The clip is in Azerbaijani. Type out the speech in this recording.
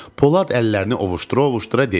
Polad əllərini ovuşdura-ovuşdura dedi: